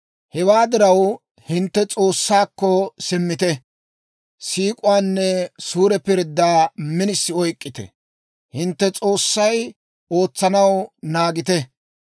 Hewaa diraw, hintte S'oossaakko simmite; siik'uwaanne suure pirddaa minisi oyk'k'ite; hintte S'oossay ootsanaw naagite.